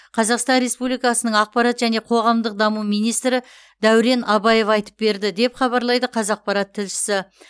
қазақстан республикасының ақпарат және қоғамдық даму министрі дәурен абаев айтып берді деп хабарлайды қазақпарат тілшісі